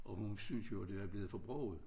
Og hun synes jo det var blevet for broget